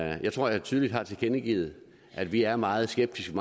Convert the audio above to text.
jeg tror jeg tydeligt har tilkendegivet at vi er meget skeptiske